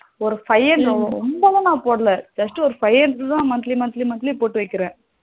ரொம்பல நா போடல just ஒரு five hundred த monthly monthly monthly போட்டு வைக்கிறே